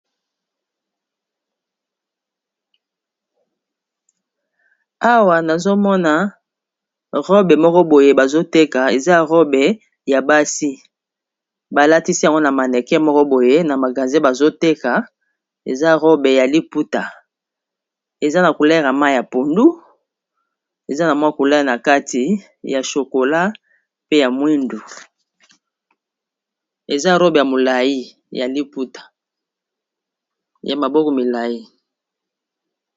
Awa nazomona robe moko boye bazoteka eza robe ya basi balatisi yango na maneke moko boye na magaze bazoteka eza robe ya liputa eza na kulela mai ya pundu, eza na mwa kulela na kati ya shokola, pe ya mwindu eza robe ya molai ya liputa ya maboko milai.